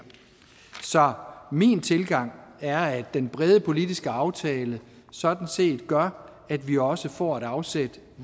så min tilgang er at den brede politiske aftale sådan set gør at vi også får et afsæt